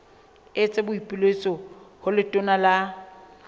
etsa boipiletso ho letona la